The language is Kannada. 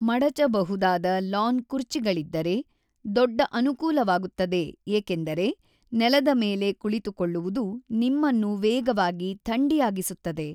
ಮಡಚಬಹುದಾದ ಲಾನ್ ಕುರ್ಚಿಗಳಿದ್ದರೆ ದೊಡ್ಡ ಅನುಕೂಲವಾಗುತ್ತದೆ ಏಕೆಂದರೆ ನೆಲದ ಮೇಲೆ ಕುಳಿತುಕೊಳ್ಳುವುದು ನಿಮ್ಮನ್ನು ವೇಗವಾಗಿ ಥಂಡಿಯಾಗಿಸುತ್ತದೆ.